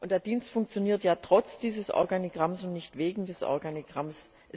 Der Dienst funktioniert ja trotz dieses Organigramms und nicht wegen des Organigramms.